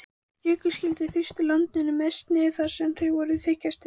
Jökulskildirnir þrýstu landinu mest niður þar sem þeir voru þykkastir.